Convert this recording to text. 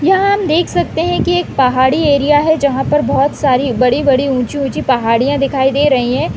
यहाँ हम देख सकते है की एक पहाड़ी एरिया है जहाँ पर बोहत सारी बड़ी-बड़ी ऊँची-ऊँची पहाड़ियाँ दिखाई दे रही है।